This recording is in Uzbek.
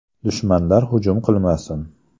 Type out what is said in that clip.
Dushmanlar hujum qilmasin!